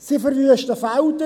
Sie verwüsten Felder.